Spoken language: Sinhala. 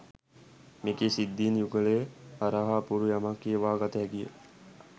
මෙකී සිද්ධීන් යුගලය හරහා අපූරු යමක් කියවා ගත හැකිය.